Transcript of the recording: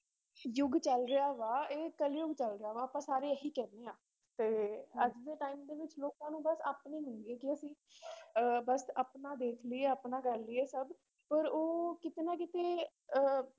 ਯੁੱਗ ਚੱਲ ਰਿਹਾ ਵਾ ਇਹ ਕਲਯੁੱਗ ਚੱਲ ਰਿਹਾ ਵਾ ਆਪਾਂ ਸਾਰੇ ਇਹੀ ਕਹਿੰਦੇ ਹਾਂ, ਤੇ ਅੱਜ ਦੇ time ਦੇ ਵਿੱਚ ਲੋਕਾਂ ਨੂੰ ਬਸ ਆਪਣੀ ਹੁੰਦੀ ਹੈ ਕਿ ਅਸੀਂ ਅਹ ਆਪਣਾ ਦੇਖ ਲਈਏ ਆਪਣਾ ਕਰ ਲਈਏ ਸਭ ਪਰ ਉਹ ਕਿਤੇ ਨਾ ਕਿਤੇ ਅਹ